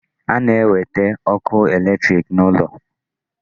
A na-ewete ọkụ electric n'ụlọ?